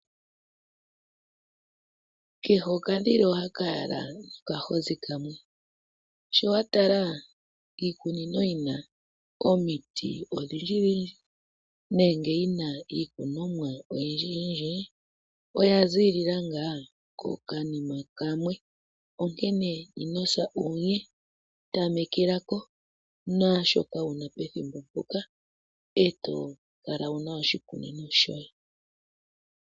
Kehe okadhila ohaka yala nokahozi kamwe. Shi wa tala iikunino yi na omiti odhindjidhindji nenge yi na iimeno oyindjiyindji oya ziilila ngaa kokayima kamwe, onkene ino sa uunye. Tamekela ko naashoka wu na pethimbo mpoka e to kala wu na oshikunino shoye.